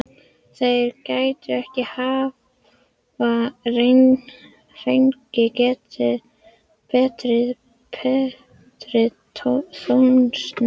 Þeir gætu ekki hafa fengið betri. betri þjónustu.